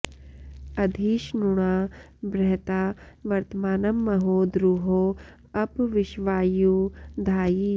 अधि॒ ष्णुना॑ बृह॒ता वर्त॑मानं म॒हो द्रु॒हो अप॑ वि॒श्वायु॑ धायि